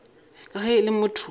ka ge e le motho